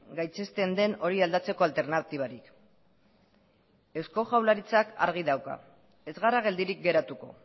gaitzesten den hori aldatzeko alternatibarik eusko jaurlaritzak argi dauka ez gara geldirik geratuko